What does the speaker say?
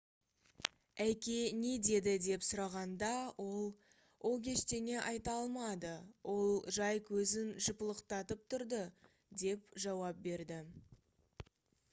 әке не деді деп сұрағанда ол «ол ештеңе айта алмады — ол жай көзін жыпылықтатып тұрды» - деп жауап берді